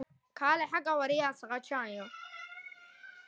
En skýrast mun að hugsa um málið út frá þessum þremur flokkum.